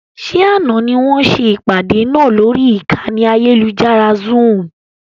Ṣé àna ni wọn ṣe ìpàdé náà lórí ìkànnì ayélujára Zoom?